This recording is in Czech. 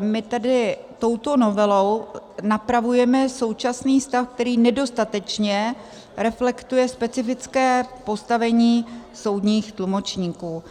my tedy touto novelou napravujeme současný stav, který nedostatečně reflektuje specifické postavení soudních tlumočníků.